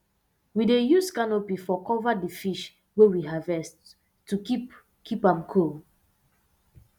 we dey use canopy um cover d fish wey we harvest to keep keep am cool